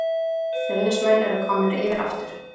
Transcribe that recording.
Fjölnismenn eru komnir yfir aftur